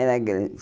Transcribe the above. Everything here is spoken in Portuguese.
grande.